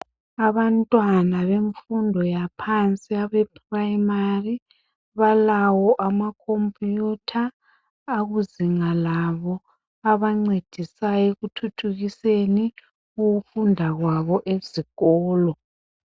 Abantwana bemfundo yaphansi, abeprimary. Balawo amacomputer, akuzinga labo. Abancedisayo, ekuthuthukiseni ukufunda kwabo, ezikolo.